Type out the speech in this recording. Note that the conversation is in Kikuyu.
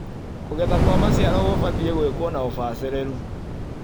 Kũgetha kwa maciaro kũbatie gwĩkuo na ũbacĩrĩru.